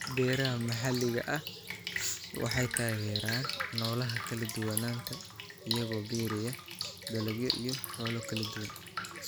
Beeraha maxalliga ah waxay taageeraan noolaha kala duwanaanta iyagoo beeraya dalagyo iyo xoolo kala duwan.